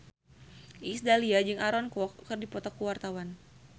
Iis Dahlia jeung Aaron Kwok keur dipoto ku wartawan